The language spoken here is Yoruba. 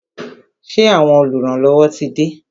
Ṣé àwọn oluranlowo tí de?